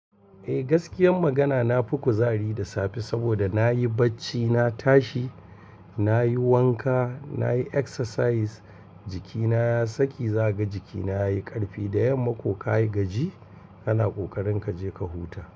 Eh gaskiyan magana na fi kuzari da safe saboda na yi bacci, na tashi, na yi wanka, na yi exercise, jikina ya saki, za ka ga jikina ya yi karfi. Da yamma ko ka yi gaji, kana ƙoƙarin ka je ka huta.